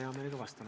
Hea meelega vastan.